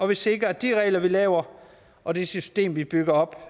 vi sikrer at de regler vi laver og det system vi bygger op